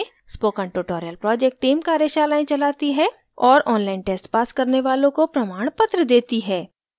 spoken tutorial project team कार्यशालाएं चलाती है और online test pass करने वालों को प्रमाणपत्र देती है